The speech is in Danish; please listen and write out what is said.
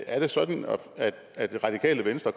er det sådan at det radikale venstre